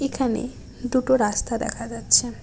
এখানে দুটো রাস্তা দেখা যাচ্ছে।